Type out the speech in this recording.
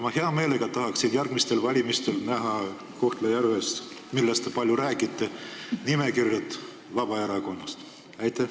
Ma hea meelega tahaksin järgmistel valimistel Kohtla-Järvel, millest te palju räägite, näha Vabaerakonna nimekirja.